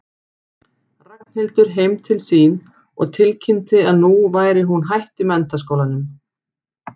Ragnhildur heim til sín og tilkynnti að nú væri hún hætt í menntaskólanum.